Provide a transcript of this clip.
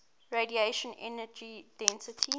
radiation energy density